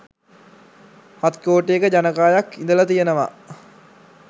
හත් කෝටියක ජනකායක් ඉඳලා තියෙනවා.